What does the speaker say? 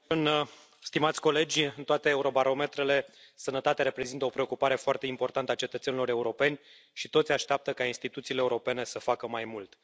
Doamnă președintă, stimați colegi, în toate Eurobarometrele sănătatea reprezintă o preocupare foarte importantă a cetățenilor europeni și toți așteaptă ca instituțiile europene să facă mai mult.